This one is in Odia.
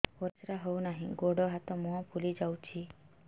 ପରିସ୍ରା ହଉ ନାହିଁ ଗୋଡ଼ ହାତ ମୁହଁ ଫୁଲି ଯାଉଛି